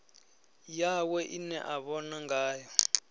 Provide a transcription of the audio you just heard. yawe ine a vhona ngayo